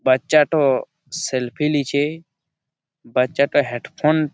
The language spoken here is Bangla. বাচ্চাঠো সেলফি লিছে। বাচ্চাটা হেড ফোন --